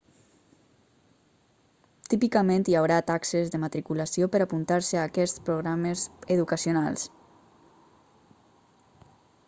típicament hi haurà taxes de matriculació per a apuntar-se a aquests programes educacionals